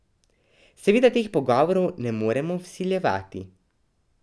Seveda teh pogovorov ne morem vsiljevati.